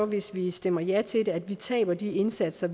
hvis vi stemmer ja til det taber de indsatser